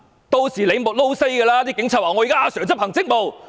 屆時警察說："警察現在要執行職務。